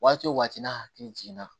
Waati o waati n'a hakili jiginna